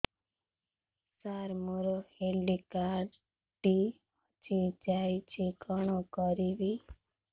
ସାର ମୋର health card ଟି ହଜି ଯାଇଛି କଣ କରିବି